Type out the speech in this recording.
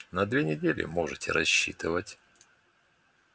на две недели можете рассчитывать